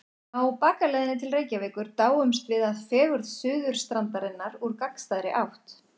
Á bakaleiðinni til Reykjavíkur dáumst við að fegurð Suðurstrandarinnar úr gagnstæðri átt.